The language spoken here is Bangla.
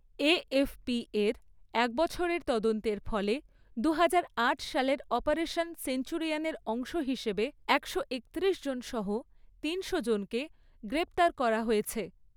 এএফপি এর এক বছরের তদন্তের ফলে দুহাজার আট সালের অপারেশন সেঞ্চুরিয়ানের অংশ হিসেবে একশো একত্রিশজন সহ তিনশোজনকে গ্রেপ্তার করা হয়েছে।